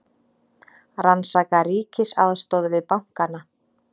Rannsaka ríkisaðstoð við bankana